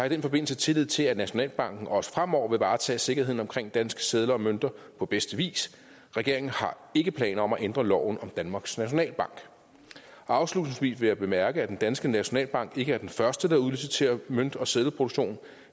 i den forbindelse tillid til at nationalbanken også fremover vil varetage sikkerheden omkring danske sedler og mønter på bedste vis regeringen har ikke planer om at ændre loven om danmarks nationalbank afslutningsvis vil jeg bemærke at den danske nationalbank ikke er den første der udliciterer mønt og seddelproduktion